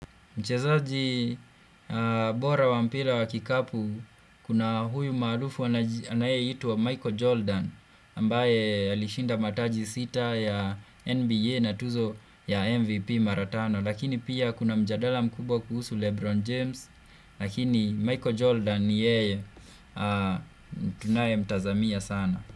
Mchezaji bora wa mpira wa kikapu kuna huyu maarufu anayeitwa Michael Jordan ambaye alishinda mataji sita ya NBA na tuzo ya MVP mara tano lakini pia kuna mjadala mkubwa kuhusu Lebron James lakini Michael Jordan yeye tunaye mtazamia sana.